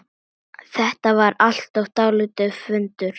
Þetta var alltaf dálítið föndur.